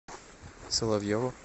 соловьеву